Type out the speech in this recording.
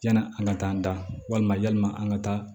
Yani an ka taa an da walima yalima an ka taa